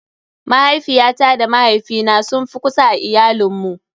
Mahaifiyata da mahaifina sun fi kusa a iayalin mu.